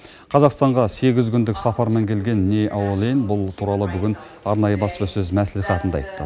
қазақстанға сегіз күндік сапармен келген ни аолэйн бұл туралы бүгін арнайы баспасөз мәслихатында айтты